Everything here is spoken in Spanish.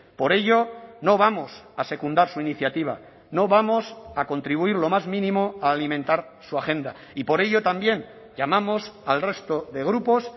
por ello no vamos a secundar su iniciativa no vamos a contribuir lo más mínimo a alimentar su agenda y por ello también llamamos al resto de grupos